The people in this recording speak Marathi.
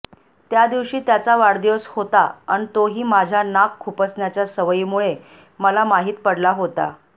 त्या दिवशी त्याचा वाढदिवस होता अन तोही माझ्या नाक खुपसण्याच्या सवयीमुळे मला माहीत पडला होता